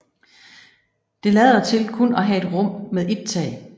Det lader til kun at have et rum med et tag